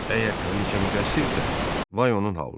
Əgər kraliçe müqəssirdirsə, vay onun halına.